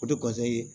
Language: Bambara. O de ye